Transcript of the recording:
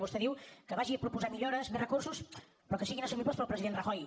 vostè diu que vagi a proposar millores més recursos però que siguin assumibles pel president rajoy